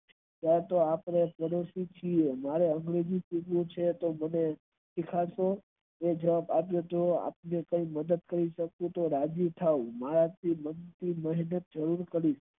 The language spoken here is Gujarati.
ત્યારેમે કીધું મારે english શીખવું છે તો મને શીખવાડતો તો એને મને જવાબ અપિયો તો એ જોય રાજી થાય.